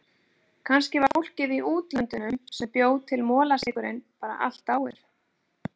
Kannski var fólkið í útlöndunum sem bjó til molasykurinn bara allt dáið.